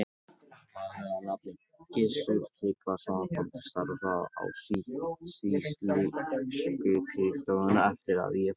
Maður að nafni Gissur Tryggvason kom til starfa á sýsluskrifstofuna eftir að ég fór þaðan.